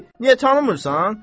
Ay kişi, niyə tanımırsan?